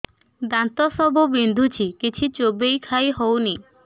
ଦାନ୍ତ ସବୁ ବିନ୍ଧୁଛି କିଛି ଚୋବେଇ ଖାଇ ହଉନି